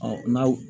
n'aw